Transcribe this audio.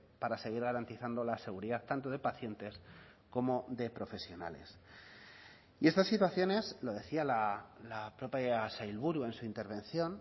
para seguir garantizando la seguridad tanto de pacientes como de profesionales y estas situaciones lo decía la propia sailburu en su intervención